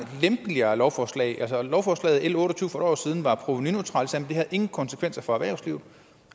lempeligere lovforslag lovforslaget l otte og tyve for et år siden var provenuneutralt og det havde ingen konsekvenser for erhvervslivet